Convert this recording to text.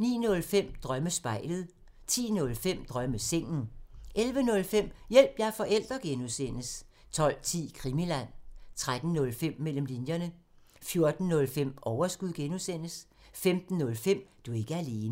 09:05: Drømmespejlet 10:05: Drømmesengen 11:05: Hjælp – jeg er forælder! (G) 12:10: Krimiland 13:05: Mellem linjerne 14:05: Overskud (G) 15:05: Du er ikke alene